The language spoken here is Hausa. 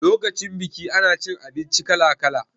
Lokacin biki ana cin abinci kala kala